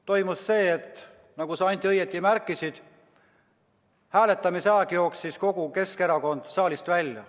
Toimus see, et nagu sa, Anti, õieti märkisid, hääletamise ajal jooksis kogu Keskerakond saalist välja.